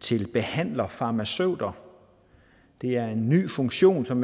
til behandlerfarmaceuter det er en ny funktion som